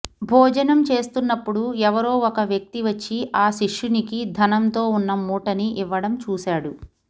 భోజనం చేస్తున్నప్పుడు ఎవరో ఒక వ్యక్తి వచ్చి ఆ శిష్యునికి ధనంతో వున్న మూటని ఇవ్వడం చూసాడు